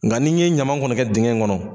Nka n'i ye ɲama kɔni kɛ dingɛ in kɔnɔ.